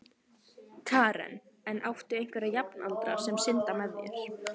Karen: En áttu einhverja jafnaldra sem synda með þér?